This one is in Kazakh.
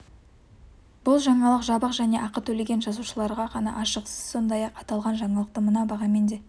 бұл жаңалық жабық және ақы төлеген жазылушыларға ғана ашық сіз сондай-ақ аталған жаңалықты мына бағамен де